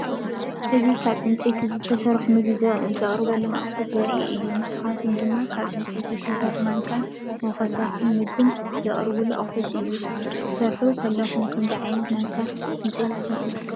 እዚ ካብ ዕንጨይቲ ዝተሰርሑ ምግቢ ዘቕርቡ ኣቑሑት ዘርኢ እዩ። ንሳቶም ድማ ካብ ዕንጨይቲ ዝተሰርሑ ማንካታት፡ ሞኮስታትን ምግቢ ዘቕርቡ ኣቑሑትን እዮም። ክትሰርሕ ከለኻ ከምዚ ዓይነት ማንካታት ዕንጨይቲ ትጥቀም ዲኻ?